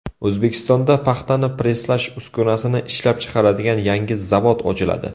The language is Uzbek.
O‘zbekistonda paxtani presslash uskunasini ishlab chiqaradigan yangi zavod ochiladi.